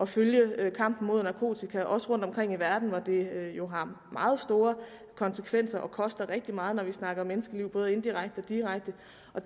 følge kampen mod narkotika rundtomkring i verden hvor det jo har meget store konsekvenser og koster rigtig meget når vi snakker om menneskeliv både indirekte og direkte